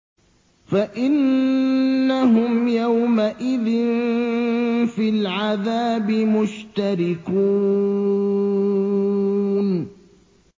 فَإِنَّهُمْ يَوْمَئِذٍ فِي الْعَذَابِ مُشْتَرِكُونَ